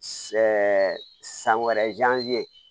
san wɛrɛ